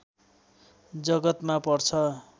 जगतमा पर्छ